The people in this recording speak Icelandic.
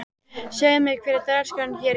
Segðu mér, hver er dagskráin hér í dag?